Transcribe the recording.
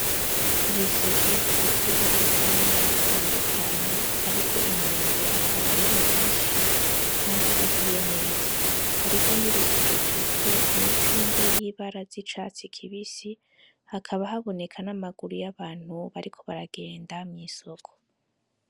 Ibiseke vyuzuye ivyamwa bitandukanye hariko imyembe akaba ariyo myishi kandi ihiye neza hariho n'igiseke cuzuye imicungwe y'ibara z'icatsi kibisi hakaba haboneka n'amaguru y'abantu bariko baragenda mw'isoko